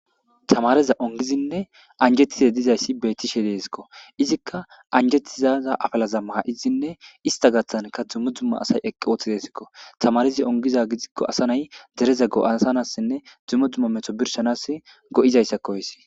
tamareza ongidinne anjettize dizayssi beettishe deesikko izikka anjettizaza afalaza maa7izinne ista gaththanka dzummo dzumma asay eqqi ooththi deesikko tamareza ongiza gidikko asa nay dereza go7asanassinne dzummo dzumma metho birshanas go7izayssakkoysi